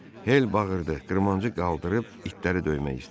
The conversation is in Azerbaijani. Hel bağırdı, qırmancı qaldırıb itləri döymək istədi.